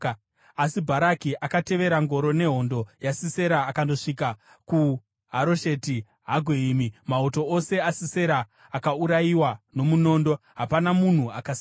Asi Bharati akatevera ngoro nehondo yaSisera akandosvika kuHarosheti Hagoyimi. Mauto ose aSisera akaurayiwa nomunondo; hapana munhu akasara.